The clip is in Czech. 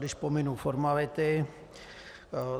Když pominu formality...